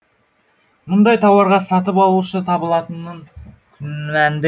мұндай тауарға сатып алушы табылатынын күмәнді